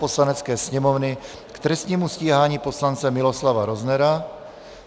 Poslanecké sněmovny k trestnímu stíhání poslance Miloslava Roznera